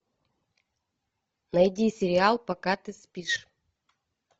найди сериал пока ты спишь